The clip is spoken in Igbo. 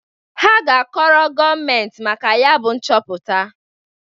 Ha ga-akọrọ gọọmentị maka ya bụ nchọpụta.